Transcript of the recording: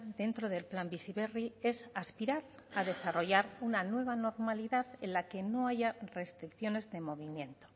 dentro del plan bizi berri es aspirar a desarrollar una nueva normalidad en la que no haya restricciones de movimiento